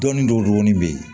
Dɔɔnin dɔw dɔnni bɛ yen